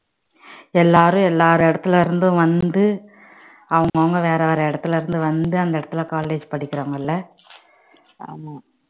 எல்லாரும் எல்லார் இடத்துல இருந்தும் வந்து அவங்க அவங்க வேற வேற இடத்துல இருந்து வந்து அந்த இடத்துல college படிக்கிறாங்கல்ல